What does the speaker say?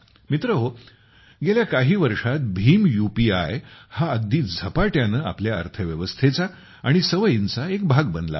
मित्रहो गेल्या काही वर्षात भीम यूपीआय हा अगदी झपाट्याने आपल्या अर्थव्यवस्थेचा आणि सवयींचा एक भाग बनला आहे